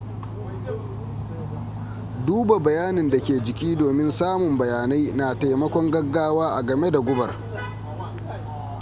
duba bayanin da ke jiki domin samun bayanai na taimakon gaggawa agame da gubar